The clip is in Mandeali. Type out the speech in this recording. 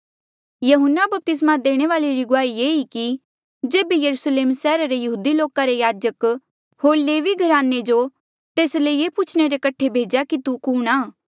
यहून्ना बपतिस्मा देणे वाल्ऐ री गुआही ये ई कि जेबे यरुस्लेम सैहरा रे यहूदी लोका रे याजक होर लेवी घराने रा जो तेस ले ये पुछणे रे कठे भेज्या कि तू कुणहां